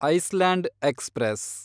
Iceland express